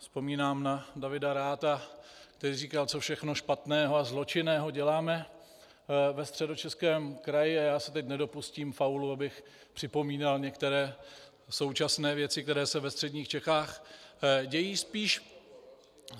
Vzpomínám na Davida Ratha, který říkal, co všechno špatného a zločinného děláme ve Středočeském kraji, a já se teď nedopustím faulu, abych připomínal některé současné věci, které se ve středních Čechách dějí.